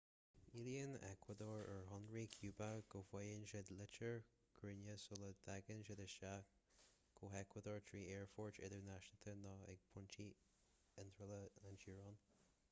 éilíonn eacuadór ar shaoránaigh chúba go bhfaighidh siad litir chuiridh sula dtagann siad isteach go heacuadór trí aerfoirt idirnáisiúnta nó ag pointí iontrála na teorann